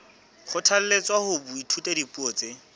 kgothalletswa ho ithuta dipuo tse